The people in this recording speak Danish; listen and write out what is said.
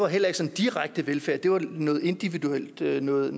heller ikke sådan direkte var velfærd det var noget individuelt noget